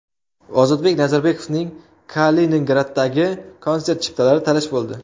Ozodbek Nazarbekovning Kaliningraddagi konsert chiptalari talash bo‘ldi.